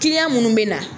minnu bɛ na